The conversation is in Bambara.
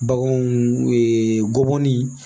Baganw gɔbɔni